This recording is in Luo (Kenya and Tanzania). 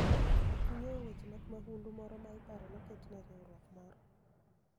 Ging'eyo weche mag mahundu moro ma iparo noket ne riwruok moro